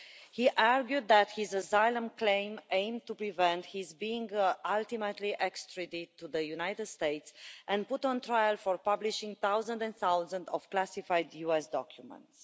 He argued that his asylum claim aimed to prevent his being ultimately extradited to the United States and put on trial for publishing thousands and thousands of classified US documents.